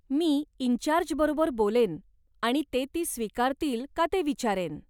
Me in charge बरोबर बोलेन आणि ते ती स्वीकारतील का ते विचारेन.